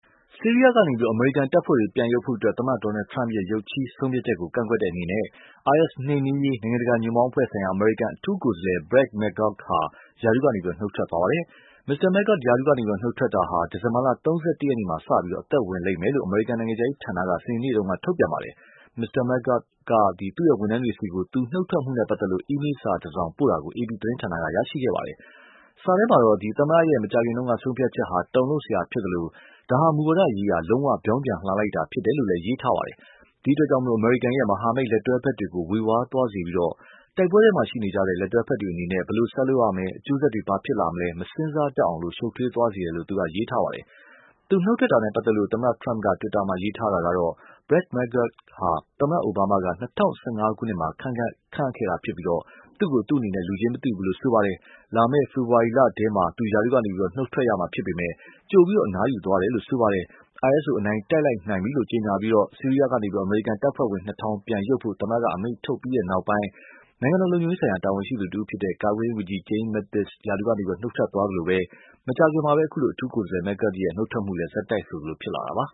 ဆီးရီးယားကနေပြီးတော့ အမေရိကန်တပ်ဖွဲ့တွေ ပြန်ရုပ်ဖို့အတွက် သမ္မတ Trump ရဲ့ ရုပ်ခြည်းဆုံးဖြတ်ချက်ကို ကန့်ကွက်တဲ့အနေနဲ့ IS နှိမ်နှင်းရေး နိုင်ငံတကာညွှန့်ပေါင်းအဖွဲ့ဆိုင်ရာ အမေရိကန် အထူးကိုယ်စားလှယ် Brett McGurk ရာထူးကနေ နုတ်ထွက်သွားပါတယ်။ Mr. McGurk ရာထူးကနေ နုတ်ထွက်မှုဟာ ဒီဇင်ဘာ ၃၁ ရက်နေ့မှာ အသက်ဝင်မယ်လို့ အမေရိကန်နိုင်ငံခြားရေးဌာနက စနေနေ့မှာ ထုတ်ပြန်ပါတယ်။ Mr. McGurk က သူနုတ်ထွက်မှုနဲ့ ပတ်သက်လို့ သူ့ဝန်ထမ်းတွေဆီကို email စာတစောင်ပို့တာကို AP သတင်းဌာနက ရရှိခဲ့ပါတယ်။ စာထဲမှာတော့ သမ္မတရဲ့ မကြာခင်တုန်းက ဆုံးဖြတ်ချက်ဟာ တုန်လှုပ်စရာဖြစ်သလို ဒါဟာ မူဝါဒရေးရာ လုံးဝ ပြောင်းပြန်လှန်လိုက်တာဖြစ်တယ်လို့ ရေးထားပါတယ်။ ဒီအတွက် အမေရိကန်ရဲ့ မဟာမိတ်လက်တွဲဖက်တွေကို ေ၀ဝါးသွားစေပြီးတော့ တိုက်ပွဲထဲမှာရှိနေကြတဲ့ လက်တွဲဖက်တွေအနေနဲ့ ဘယ်လိုဆက်လုပ်ရမယ် အကျိုးဆက်တွေဘာဖြစ်လာမယ် ၊ မစဉ်းစားတတ်အောင် ရှုပ်ထွေးသွားစေတယ်လို့ သူကရေးထားပါတယ်။ သူနုတ်ထွက်တာနဲ့ ပတ်သက်လို့ သမ္မတ Trump က တွစ်တာမှာ ရေးထားတာကတော့ Brett McGurkဟာ သမ္မတ အိုဘားမားက ၂၀၁၅ ခုနှစ်မှာ ခန့်အပ်ခဲ့တာဖြစ်ပြီးတော့ သူ့ကို လူချင်းမသိဘူးလို့ ဆိုပါတယ်။ လာမယ့် ဖေဖော်ဝါရီလထဲမှာ သူရာထူးကနေပြီးတော့ နုတ်ထွက်ရမှာ ဖြစ်ပေမယ့် ကြိုပြီးအနားယူသွားတယ်လို့ ဆိုပါတယ်။ IS ကိုအနိုင်တိုက်လိုက်နိုင်ပြီလို့ ကြေညာပြီးတော့ ဆီးရီးယားကနေပြီးတော့ အမေရိကန်တပ်ဖွဲ့တွေ ပြန်ရုပ်ဖို့အတွက် သမ္မတက အမိန့်ထုတ်ပြီးနောက်ပိုင်း နိုင်ငံတော်လုံခြုံရေးဆိုင်ရာ တာဝန်ရှိသူတဦးဖြစ်တဲ့ ကာကွယ်ရေးဝန်ကြီး James Mattis ကလည်း နုတ်ထွက်သွားသလိုပဲ မကြာခင်မှာလည်း အခုလို အထူးကိုယ်စားလှယ် Brett McGurk ရာထူးကနေ နုတ်ထွက်တာလည်း ဆက်တိုက်ဆိုသလိုဖြစ်လာတာပါ